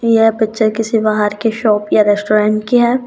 यह पिक्चर किसी बाहर की शॉप या रेस्टोरेंट की है।